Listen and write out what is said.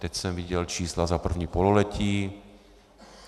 Teď jsem viděl čísla za první pololetí.